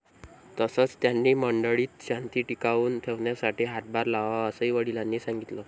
तसंच, त्यांनी मंडळीत शांती टिकवून ठेवण्यासाठी हातभार लावावा, असंही वडिलांनी सांगितलं.